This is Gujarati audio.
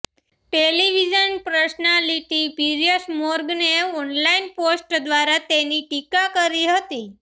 ટેલિવિઝન પર્સનાલિટી પીયર્સ મોર્ગને ઓનલાઈન પોસ્ટ દ્વારા તેની ટીકા કરી હતી